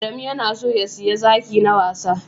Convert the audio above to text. Adamu ya na so ya siya zaki na wasa